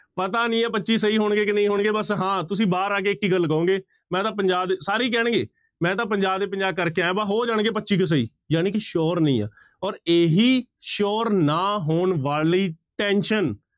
ਪਤਾ ਨੀ ਹੈ ਪੱਚੀ ਸਹੀ ਹੋਣਗੇ ਕਿ ਨਹੀਂ ਹੋਣਗੇ ਬਸ ਹਾਂ ਤੁਸੀਂ ਬਾਹਰ ਆ ਕੇ ਇੱਕ ਹੀ ਗੱਲ ਕਹੋਗੇ ਮੈਂ ਤਾਂ ਪੰਜਾਹ ਦੇ, ਸਾਰੇ ਹੀ ਕਹਿਣਗੇ ਮੈਂ ਤਾਂ ਪੰਜਾਹ ਦੇ ਪੰਜਾਹ ਕਰਕੇ ਆਇਆਂ ਬਸ ਹੋ ਜਾਣਗੇ ਪੱਚੀ ਕੁ ਸਹੀ, ਜਾਣੀ ਕਿ sure ਨਹੀਂ ਆ ਔਰ ਇਹੀ sure ਨਾ ਹੋਣ ਵਾਲੀ tension